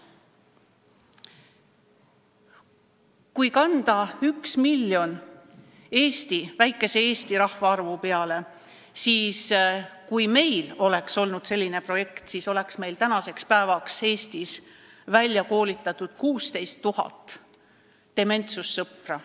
Kui kanda see üks miljon üle väikese Eesti rahvaarvu peale, siis selgub, et kui meil oleks olnud selline projekt, siis oleks meil tänaseks päevaks välja koolitatud 16 000 dementsuse sõpra.